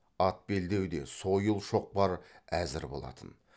ат белдеуде сойыл шоқпар әзір болатын